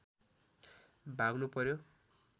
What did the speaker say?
भाग्नु पर्‍यो